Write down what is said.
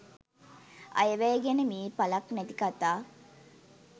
අයවැය ගැන මේ ඵලක් නැති කතා